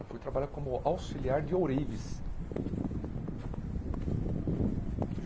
Eu fui trabalhar como auxiliar de Ourives.